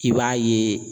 I b'a ye